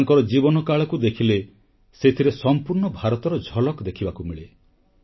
ତାଙ୍କର ଜୀବନ କାଳକୁ ଦେଖିଲେ ସେଥିରେ ସମ୍ପୂର୍ଣ୍ଣ ଭାରତର ଝଲକ ଦେଖିବାକୁ ମିଳେ